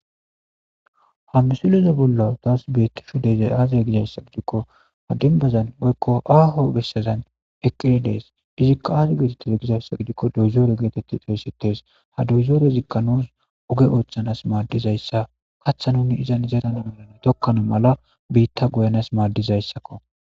Ha misulize bollo daas bettishu deze aaze gizayssa gidikko adinbazan oykko aaho bessazan eqqilidees izikka aaze geetetteze gizayssa gidikko dozoore geetetti toyssites ha dozoore zikka nuus oge oothchanas maaddizayssa kaththa nuni izan izadana melane tokkano mala biitta goyanas maaddizayssakko.